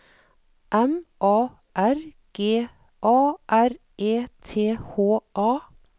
M A R G A R E T H A